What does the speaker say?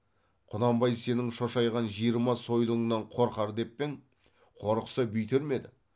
құнанбай сенің шошайған жиырма сойылыңнан қорқар деп пе ең қорықса бүйтер ме еді